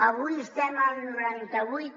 avui estem al noranta vuit